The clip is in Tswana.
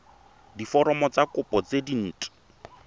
diforomo tsa kopo tse dint